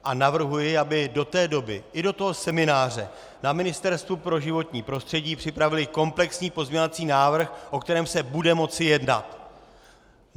A navrhuji, aby do té doby, i do toho semináře na Ministerstvu pro životní prostředí připravili komplexní pozměňovací návrh, o kterém se bude moci jednat!